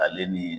Ale ni